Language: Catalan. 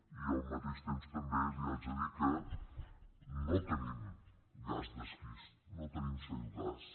i al mateix temps també li haig de dir que no tenim gas d’esquist no tenim shale gas